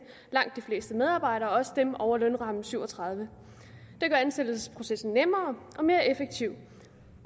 langt de fleste medarbejdere også dem over lønramme syv og tredive det gør ansættelsesprocessen nemmere og mere effektiv